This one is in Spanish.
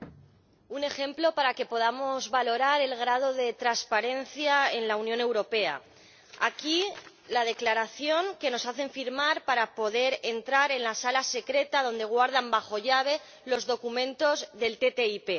Señor Presidente, un ejemplo para que podamos valorar el grado de transparencia en la Unión Europea aquí les muestro la declaración que nos hacen firmar para poder entrar en la sala secreta donde guardan bajo llave los documentos de la ATCI.